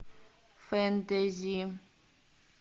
фэнтези